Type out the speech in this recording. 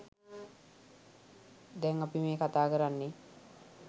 දැන් අපි මේ කතා කරන්නෙ